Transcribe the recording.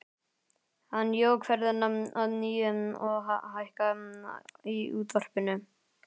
Hann jók ferðina að nýju og hækkaði í útvarpinu.